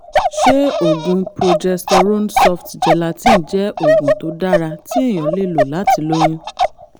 ṣé oògùn progesterone soft gelatin jẹ́ oògùn tó dára tí èèyàn lè lò láti lóyún?